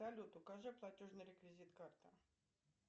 салют укажи платежный реквизит карты